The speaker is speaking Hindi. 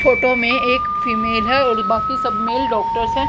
फोटो में एक फीमेल है और बाकी सब मेल डॉक्टर्स हैं।